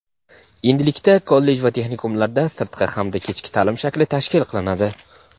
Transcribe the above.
Endilikda kollej va texnikumlarda sirtqi hamda kechki ta’lim shakli tashkil qilinadi.